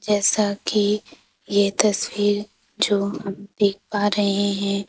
जैसा कि यह तस्वीर जो हम देख पा रहे हैं।